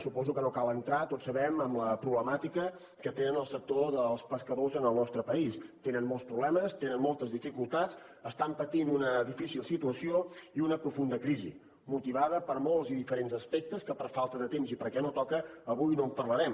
suposo que no cal entrar tots ho sabem en la problemàtica que té el sector dels pescadors en el nostre país tenen molts problemes tenen moltes dificultats estan patint una difícil situació i una profunda crisi motivada per molts i diferents aspectes que per falta de temps i perquè no toca avui no en parlarem